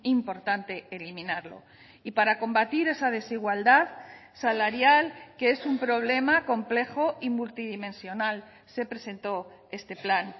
importante eliminarlo y para combatir esa desigualdad salarial que es un problema complejo y multidimensional se presentó este plan